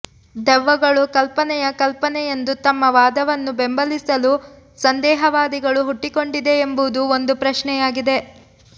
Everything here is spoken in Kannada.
ದೆವ್ವಗಳು ಕಲ್ಪನೆಯ ಕಲ್ಪನೆಯೆಂದು ತಮ್ಮ ವಾದವನ್ನು ಬೆಂಬಲಿಸಲು ಸಂದೇಹವಾದಿಗಳು ಹುಟ್ಟಿಕೊಂಡಿದೆ ಎಂಬುದು ಒಂದು ಪ್ರಶ್ನೆಯಾಗಿದೆ